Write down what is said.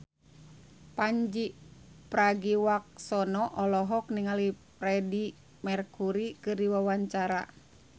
Pandji Pragiwaksono olohok ningali Freedie Mercury keur diwawancara